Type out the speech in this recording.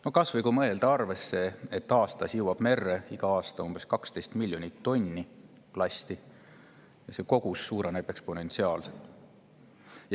No kas või see, et iga aasta jõuab merre umbes 12 miljonit tonni plasti, ja see kogus suureneb eksponentsiaalselt.